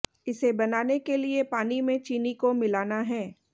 इसे बनाने के लिए पानी में चीनी को मिलाना है